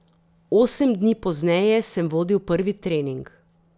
Osem dni pozneje sem vodil prvi trening.